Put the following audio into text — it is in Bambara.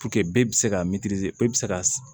bɛɛ bɛ se ka bɛ se ka